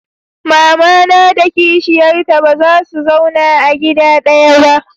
mamana da kishiyar ta baza su zauna a gida ɗaya ba